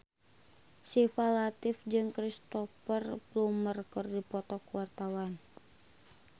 Syifa Latief jeung Cristhoper Plumer keur dipoto ku wartawan